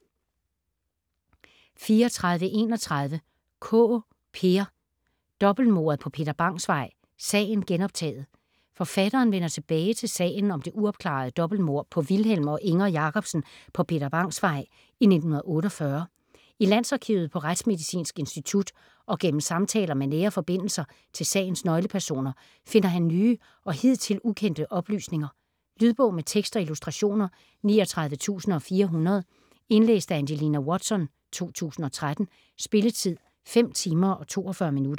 34.31 Kaae, Peer: Dobbeltmordet på Peter Bangs Vej: sagen genoptaget Forfatteren vender tilbage til sagen om det uopklarede dobbeltmord på Vilhelm og Inger Jacobsen på Peter Bangs Vej i 1948. I Landsarkivet, på Retsmedicinsk Institut og gennem samtaler med nære forbindelser til sagens nøglepersoner finder han nye og hidtil ukendte oplysninger. Lydbog med tekst og illustrationer 39400 Indlæst af Angelina Watson, 2013. Spilletid: 5 timer, 42 minutter.